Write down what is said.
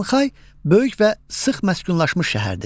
Şanxay böyük və sıx məskunlaşmış şəhərdir.